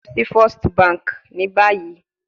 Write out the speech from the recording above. Lọ si first banki ni bayi